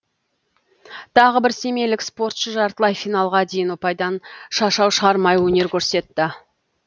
тағы бір семейлік спортшы жартылай финалға дейін ұпайдан шашау шығармай өнер көрсетті